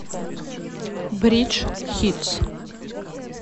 бридж хитс